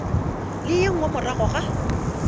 le ye nngwe morago ga